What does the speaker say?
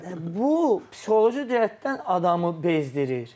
Və bu psixoloji cəhətdən adamı bezdirir.